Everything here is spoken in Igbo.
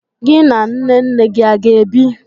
Gị na nne nne gị a ga-ebi?